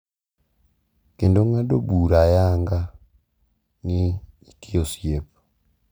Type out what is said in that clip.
Kendo ng’ado bura ayanga ni nitie osiep.